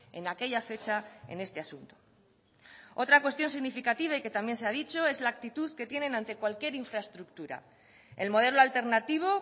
en aquella fecha en este asunto otra cuestión significativa y que también se ha dicho es la actitud que tienen ante cualquier infraestructura el modelo alternativo